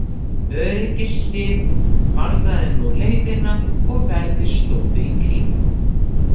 Öryggishlið varðaði nú leiðina og verðir stóðu í kring.